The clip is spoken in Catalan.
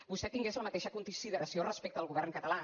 vostè tingués la mateixa consideració respecte al govern català